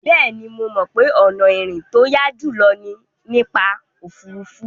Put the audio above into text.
Bẹ́ẹ̀ni, mo mọ̀ pé ọ̀nà ìrìn tó yá jùlọ ni nípa òfuurufú.